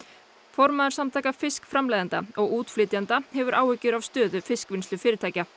formaður Samtaka fiskframleiðenda og útflytjenda hefur áhyggjur af stöðu fiskvinnslufyrirtækja